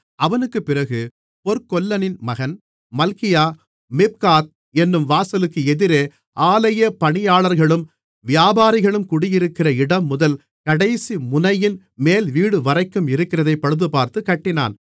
அவனுக்குப் பிறகு பொற்கொல்லனின் மகன் மல்கியா மிப்காத் என்னும் வாசலுக்கு எதிரே ஆலயப் பணியாளர்களும் வியாபாரிகளும் குடியிருக்கிற இடம்முதல் கடைசி முனையின் மேல்வீடுவரைக்கும் இருக்கிறதைப் பழுதுபார்த்துக் கட்டினான்